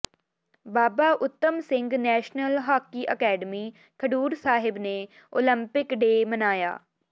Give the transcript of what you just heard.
ਬਾਬਾ Uttam Singh national hockey academy Khadur Sahib ਨੇ Olympic day ਮਨਾਇਆ